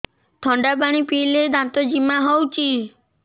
ଥଣ୍ଡା ପାଣି ପିଇଲେ ଦାନ୍ତ ଜିମା ହଉଚି